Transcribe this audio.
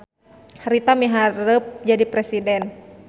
Rita miharep jadi presiden